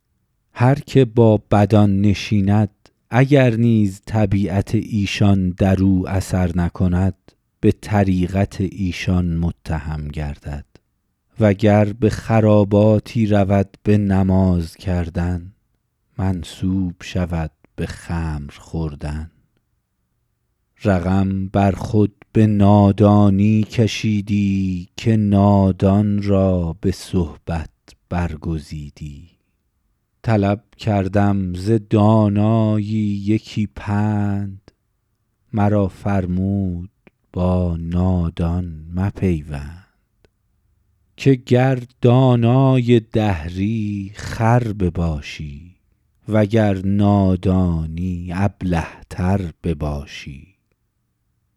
هر که با بدان نشیند اگر نیز طبیعت ایشان در او اثر نکند به طریقت ایشان متهم گردد و گر به خراباتی رود به نماز کردن منسوب شود به خمر خوردن رقم بر خود به نادانی کشیدی که نادان را به صحبت برگزیدی طلب کردم ز دانایی یکی پند مرا فرمود با نادان مپیوند که گر دانای دهری خر بباشی وگر نادانی ابله تر بباشی